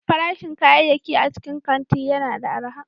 Farashin kayayyaki a cikin kanti yana da arha.